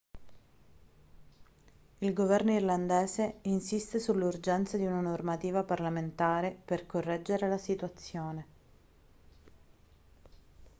il governo irlandese insiste sull'urgenza di una normativa parlamentare per correggere la situazione